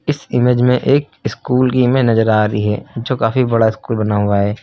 इस इमेज में एक स्कूल की में नजर आ रही है जो काफी बड़ा स्कूल बना हुआ है।